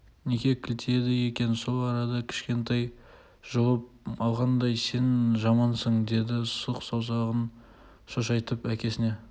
неге кілтиеді екен сол арада кішкентай жұлып алғандай сен жамансың деді сұқ саусағын шошайтып әкесіне